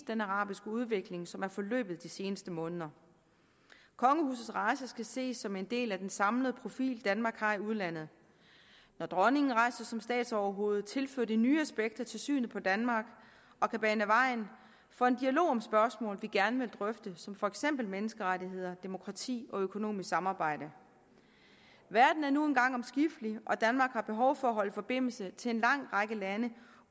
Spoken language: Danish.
den arabiske udvikling som den er forløbet de seneste måneder kongehusets rejse skal ses som en del af den samlede profil danmark har i udlandet når dronningen rejser som statsoverhoved tilføjer det nye aspekter til synet på danmark og kan bane vejen for en dialog om spørgsmål vi gerne vil drøfte som for eksempel menneskerettigheder demokrati og økonomisk samarbejde verden er nu engang omskiftelig og danmark har behov for at holde forbindelse til en lang række lande